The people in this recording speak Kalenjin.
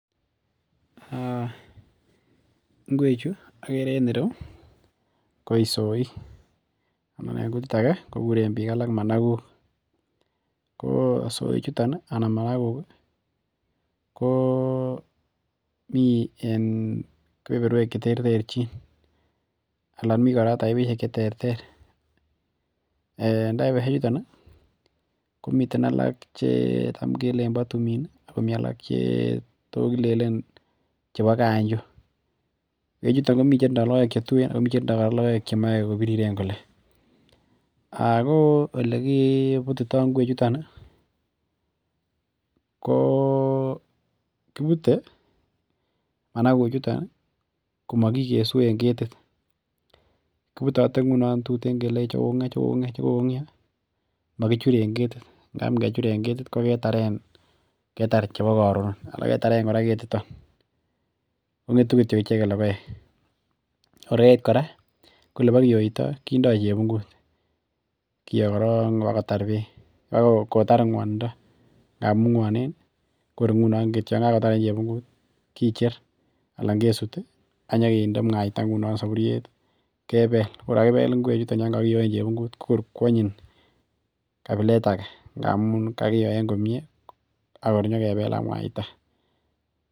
Ngwek Chu akere en ireu koisoik amun en kutit Ake kekuren isoik kikuren bik alak Managuk ko soik chuton anan Managuk ko mi en kebeberwek cheterterchin anan mi koraa taipishek cheterter en taipishek chuton komiten alak chetam kelelen ba tumin akomi alak Che tis kilelel chebo kanjo en chiton komi6en chetinye logoek chetuiyen AK alak kotindo logoek chemae kotililen ako oleki butito ingwek chuton ko kobute Managuk chuton komakikesu en ketit kibutate inginon tuten chikokongio ako makichure en ketit koketaren chebo koron niton kongetu icheken logoek kora ko ilekiyoitoi kindoi chebungut kiyo Koron bakotar bek akotar ngwanindo ngamun ngwanen kor inginon akicher en chebungut akesut akento kende mwaita saburiet akegel ingwek Kotor kwanyin kabilet age amun kakiyo komie akebel ak mwaita